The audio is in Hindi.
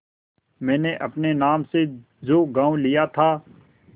मैंने अपने नाम से जो गॉँव लिया था